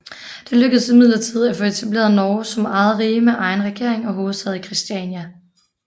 Det lykkedes imidlertid at få etableret Norge som eget rige med egen regering og hovedstad i Christiania